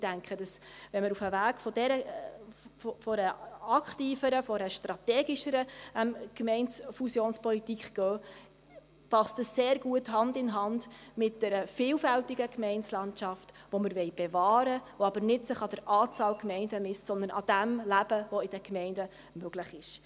Ich denke, wenn wir auf den Weg einer aktiveren, strategischeren Gemeindefusionspolitik gehen, passt dies sehr gut und geht Hand in Hand mit der vielfältigen Gemeindelandschaft, die wir bewahren wollen, die sich aber nicht an der Anzahl Gemeinden misst, sondern am Leben, das in den Gemeinden möglich ist.